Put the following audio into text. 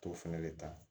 T'o fɛnɛ de ta